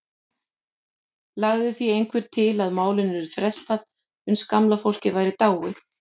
Lagði því einhver til að málinu yrði frestað uns gamla fólkið væri dáið.